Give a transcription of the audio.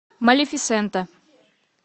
малефисента